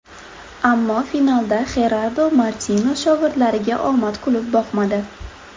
Ammo finalda Xerardo Martino shogirdlariga omad kulib boqmadi.